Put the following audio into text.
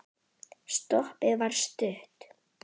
Stoppið var stutt.